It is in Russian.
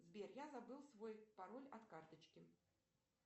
сбер я забыл свой пароль от карточки